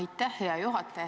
Aitäh, hea juhataja!